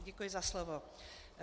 Děkuji za slovo.